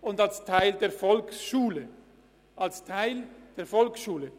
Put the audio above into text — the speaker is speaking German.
und als Teil der Volksschule verstanden wird.